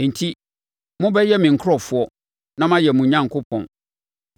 ‘Enti mobɛyɛ me nkurɔfoɔ, na mayɛ mo Onyankopɔn.’ ”